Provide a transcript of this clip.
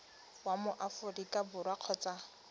wa mo aforika borwa kgotsa